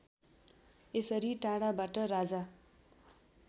यसरी टाढाबाट राजा